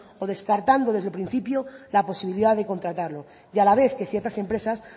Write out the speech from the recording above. o descartando desde el principio la posibilidad de contratarlo y a la vez que ciertas empresas